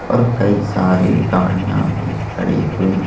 और कई सारी गाड़ियां भी खड़ी हुई--